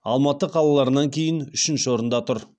алматы қалаларынан кейін үшінші орында тұр